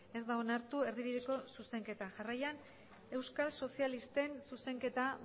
ez da onartu erdibideko zuzenketa jarraian euskal sozialisten zuzenketa